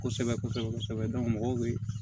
Kosɛbɛ kosɛbɛ kosɛbɛ mɔgɔw bɛ